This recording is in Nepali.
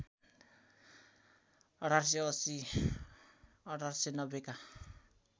१८८० १८९० का